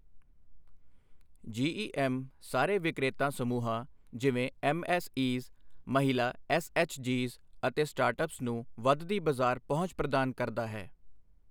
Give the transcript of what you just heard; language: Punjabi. ਜੀਈਐੱਮ ਸਾਰੇ ਵਿਕਰੇਤਾ ਸਮੂਹਾਂ ਜਿਵੇਂ ਐਮਐਸਈਜ਼, ਮਹਿਲਾ ਐਸਐਚਜੀਜ਼ ਅਤੇ ਸਟਾਰਟਅਪਜ਼ ਨੂੰ ਵੱਧਦੀ ਬਾਜ਼ਾਰ ਪਹੁੰਚ ਪ੍ਰਦਾਨ ਕਰਦਾ ਹੈ